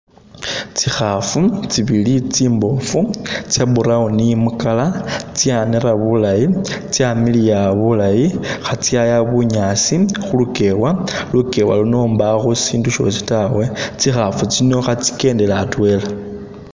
Tsikhaafu tsibili tsimbofu, tsya brown mu colour, tsyanera bulayi, tsyamiliya bulayi, khatsyaya bunyaasi khu lukewa, lukewa luno mbakho syindu syoosi tawe. Tsikhaafu tsino khatsikendela atwela.